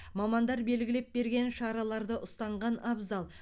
мамандар белгілеп берген шараларды ұстанған абзал